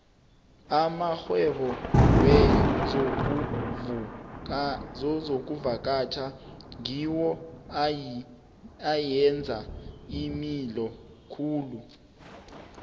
amarhwebo wezokuvakatjha ngiwo ayenza imali khulu